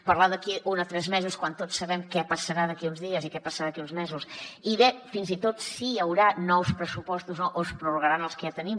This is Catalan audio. parlar d’aquí a un a tres mesos quan tots sabem què passarà d’aquí uns dies i què passarà d’aquí uns mesos i bé fins i tot si hi haurà nous pressupostos o no o es prorrogaran els que ja tenim